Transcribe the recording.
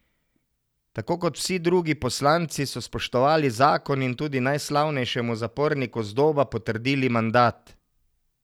Tako kot vsi drugi poslanci so spoštovali zakon in tudi najslavnejšemu zaporniku z Doba potrdili mandat.